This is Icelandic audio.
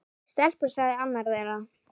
Stelpur sagði annar þeirra.